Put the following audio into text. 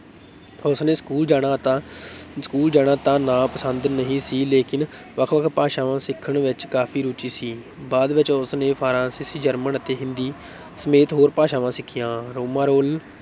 ਉਸਨੇ ਸਕੂਲ ਜਾਣਾ ਤਾਂ ਸਕੂਲ ਜਾਣਾ ਤਾਂ ਨਾ ਪਸੰਦ ਨਹੀਂ ਸੀ ਲੇਕਿਨ ਵੱਖ-ਵੱਖ ਭਾਸ਼ਾਵਾਂ ਸਿੱਖਣ ਵਿੱਚ ਕਾਫ਼ੀ ਰੁਚੀ ਸੀ, ਬਾਅਦ ਵਿੱਚ ਉਸ ਨੇ ਫ਼ਰਾਂਸੀਸੀ, ਜਰਮਨ ਅਤੇ ਹਿੰਦੀ ਸਮੇਤ ਹੋਰ ਭਾਸ਼ਾਵਾਂ ਸਿਖੀਆਂ, ਰੋਮਾਂ ਰੋਲ